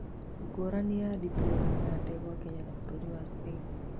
Ngũrani ya ndititimũrano ya ndegwa Kenya na bũrũri wa Spain